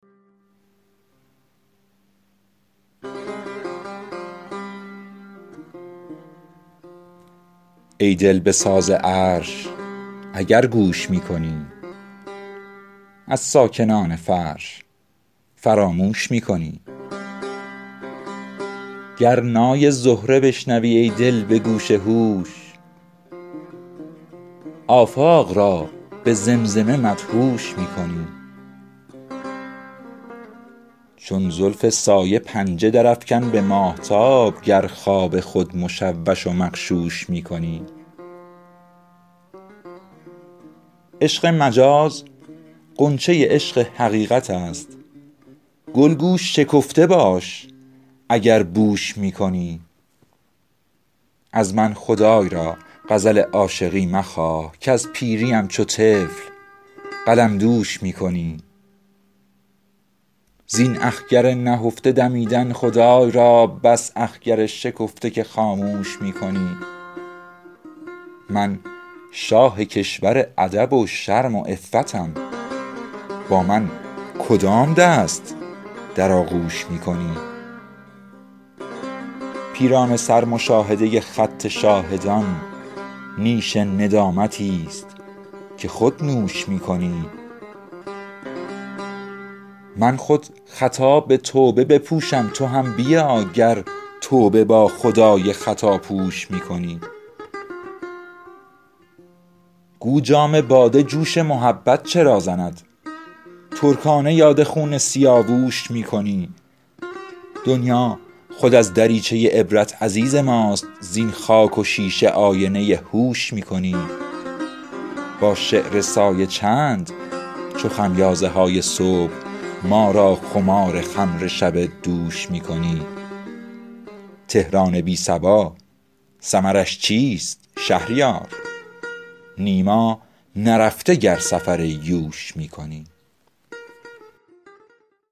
ای دل به ساز عرش اگر گوش می کنی از ساکنان فرش فراموش می کنی گر نای زهره بشنوی ای دل به گوش هوش آفاق را به زمزمه مدهوش می کنی شب کز نهیب شیر فلک خفته ای خراب خواب سحر حواله به خرگوش می کنی چون زلف سایه پنجه درافکن به ماهتاب گر خواب خود مشوش و مغشوش می کنی بر ابر پاره گوشه ابروی ماه بین گر خود هوای زلف و بناگوش می کنی عشق مجاز غنچه عشق حقیقت است گل گو شکفته باش اگر بوش می کنی از من خدای را غزل عاشقی مخواه کز پیریم چو طفل قلمدوش می کنی زین اخگر نهفته دمیدن خدای را بس اخگر شکفته که خاموش می کنی ناقوس دیر را جرس کاروان مگیر سیمرغ را مقایسه با قوش می کنی با شیر از گوزن حکایت کنند و میش خود کیست گربه تا سخن از موش می کنی من شاه کشور ادب و شرم و عفتم با من کدام دست در آغوش می کنی پیرانه سر مشاهده خط شاهدان نیش ندامتی است که خود نوش می کنی من خود خطا به توبه بپوشم تو هم بیا گر توبه با خدای خطا پوش می کنی گو جام باده جوش محبت چرا زند ترکانه یاد خون سیاووش می کنی دنیا خود از دریچه عبرت عزیز ماست زین خاک و شیشه آینه هوش می کنی با شعر سایه چند چو خمیازه های صبح ما را خمار خمر شب دوش می کنی تهران بی صبا ثمرش چیست شهریار نیما نرفته گر سفر یوش می کنی